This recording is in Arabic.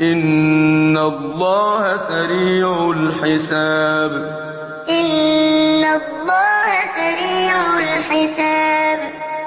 إِنَّ اللَّهَ سَرِيعُ الْحِسَابِ وَإِنَّ مِنْ أَهْلِ الْكِتَابِ لَمَن يُؤْمِنُ بِاللَّهِ وَمَا أُنزِلَ إِلَيْكُمْ وَمَا أُنزِلَ إِلَيْهِمْ خَاشِعِينَ لِلَّهِ لَا يَشْتَرُونَ بِآيَاتِ اللَّهِ ثَمَنًا قَلِيلًا ۗ أُولَٰئِكَ لَهُمْ أَجْرُهُمْ عِندَ رَبِّهِمْ ۗ إِنَّ اللَّهَ سَرِيعُ الْحِسَابِ